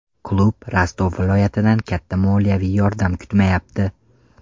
Klub Rostov viloyatidan katta moliyaviy yordam kutmayapti.